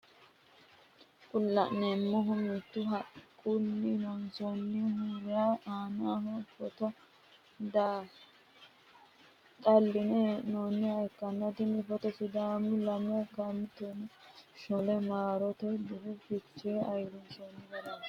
Kuni la'neemohu mittu haqqunni lonsoonnihura aanaho footo dhalline he'nooniha ikkanna tini footo sidaamu lame kumenna tonaa shoole maarote dirira fichee ayiirisino garaati.